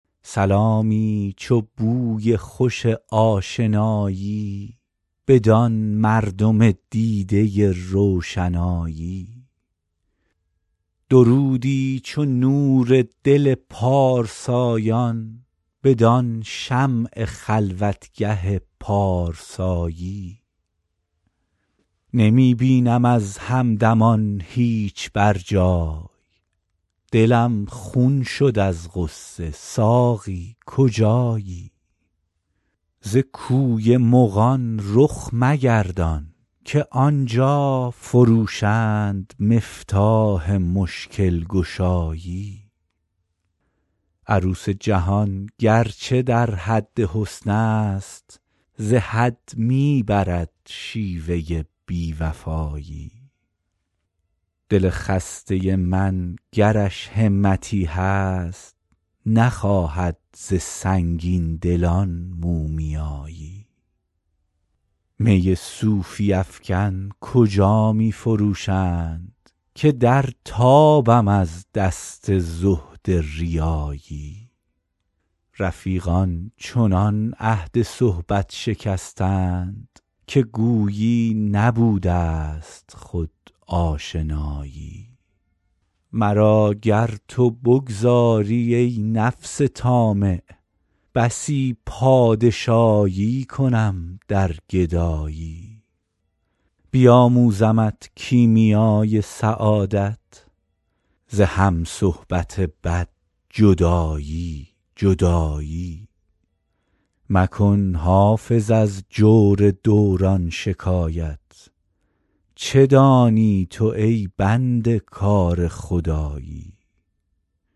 سلامی چو بوی خوش آشنایی بدان مردم دیده روشنایی درودی چو نور دل پارسایان بدان شمع خلوتگه پارسایی نمی بینم از همدمان هیچ بر جای دلم خون شد از غصه ساقی کجایی ز کوی مغان رخ مگردان که آن جا فروشند مفتاح مشکل گشایی عروس جهان گر چه در حد حسن است ز حد می برد شیوه بی وفایی دل خسته من گرش همتی هست نخواهد ز سنگین دلان مومیایی می صوفی افکن کجا می فروشند که در تابم از دست زهد ریایی رفیقان چنان عهد صحبت شکستند که گویی نبوده ست خود آشنایی مرا گر تو بگذاری, ای نفس طامع بسی پادشایی کنم در گدایی بیاموزمت کیمیای سعادت ز هم صحبت بد جدایی جدایی مکن حافظ از جور دوران شکایت چه دانی تو ای بنده کار خدایی